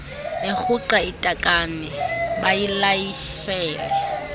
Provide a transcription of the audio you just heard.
erhuqa itakane bayilayishele